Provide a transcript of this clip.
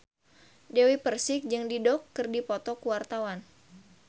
Dewi Persik jeung Dido keur dipoto ku wartawan